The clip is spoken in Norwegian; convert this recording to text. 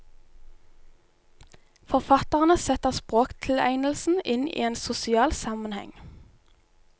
Forfatterne setter språktilegnelsen inn i en sosial sammenheng.